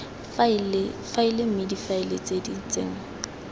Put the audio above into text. faele mme difaele di tsenngwa